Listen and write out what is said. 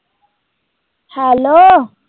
Hello